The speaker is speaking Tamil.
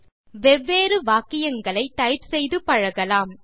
நீங்கள் வெவ்வேறு வாக்கியங்களை டைப் செய்து பழகலாம்